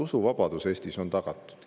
Usuvabadus Eestis on tagatud.